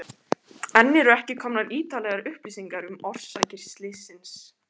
Enn eru ekki komnar ítarlegar upplýsingar um orsakir slyssins.